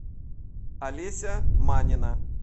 олеся манина